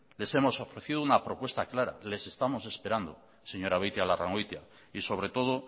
les hemos ofrecido una propuesta clara les estamos esperado señora beitialarrangoitia y sobre todo